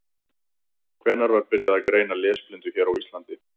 Hvenær var byrjað að greina lesblindu hér á Íslandi?